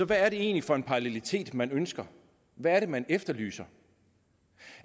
hvad er det egentlig for en parallelitet man ønsker hvad er det man efterlyser